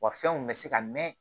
Wa fɛnw bɛ se ka mɛn